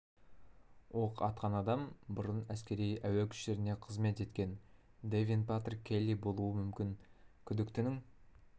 оқ атқан адам бұрын әскери әуе күштерінде қызмет еткен дэвин патрик келли болуы мүмкін күдіктінің